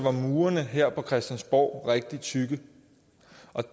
er murene her på christiansborg rigtig tykke